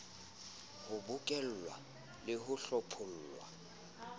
ho bokellwa le ho hlophollwa